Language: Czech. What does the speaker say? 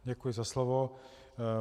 Děkuji za slovo.